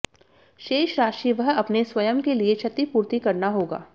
शेष राशि वह अपने स्वयं के लिए क्षतिपूर्ति करना होगा